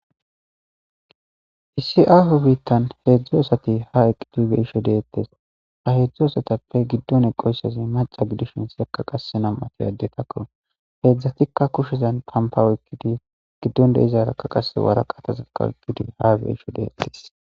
Issi aaho biittan heedzdzu asati ha eqidbeisho deettes ha heedzdzu asatappe giddon eqoysazi maca gidishin sekka qasse nam7atoy addetakko heedzdzatikka kushezan pampaweykkidi giddon de izarakka qase waraqatazakkawoykkidi ha beisho deettes.